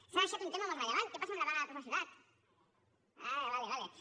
s’ha deixat un tema molt rellevant què passa amb la vaga de professorat ah d’acord d’acord